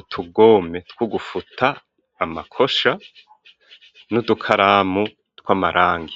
utugome two gufuta amakosha n'udukaramu tw'amarangi